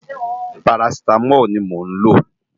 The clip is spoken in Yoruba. Párásitámól ni mó n ló